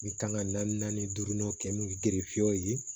N bɛ kan ka naani naani duuru kɛ n'u gerefew ye